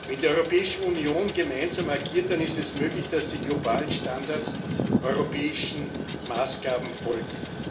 Wenn die Europäische Union gemeinsam agiert, dann ist es möglich, dass die globalen Standards europäischen Maßgaben folgen.